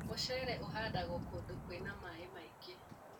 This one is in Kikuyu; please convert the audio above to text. Mũcere ũhandagwo kũndũ kwĩna maĩ maingĩ.